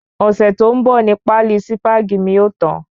Ọ̀sẹ̀ tó ń bò ni páálí Sípàgì mi o tan